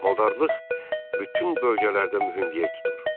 Maldarlıq bütün bölgələrdə mühüm yer tutur.